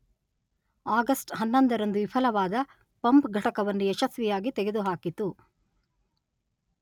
August ಹನ್ನೊಂದರಂದು ವಿಫಲವಾದ pump ಘಟಕವನ್ನು ಯಶಸ್ವಿಯಾಗಿ ತೆಗೆದುಹಾಕಿತು.